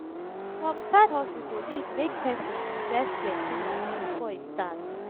some side hustle go need make persin invest plenty money before e start